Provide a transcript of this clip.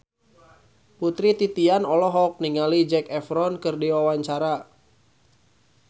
Putri Titian olohok ningali Zac Efron keur diwawancara